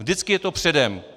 Vždycky je to předem.